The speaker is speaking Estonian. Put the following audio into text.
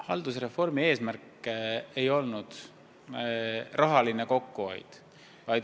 Haldusreformi eesmärk ei olnud raha kokkuhoid.